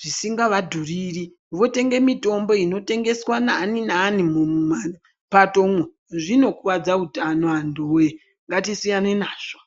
zvisingavadhuriri votenge mitombo inotengeswe naninani mumapatomwo zvinokuwadze utano anhu we ngatisiyane nazvo.